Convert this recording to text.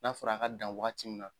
N'a fɔra a ka dan waagati min na.